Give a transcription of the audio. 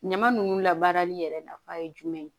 Ɲama nunnu labaarali yɛrɛ nafa ye jumɛn ye